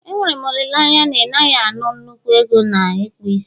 Enwere m olileanya na ị naghị ana nnukwu ego na ịkpụ isi